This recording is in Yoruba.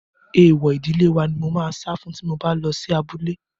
Èèwọ̀ ìdílé wa ni mò máa sá fún tí mo bá lọ sí abúlé.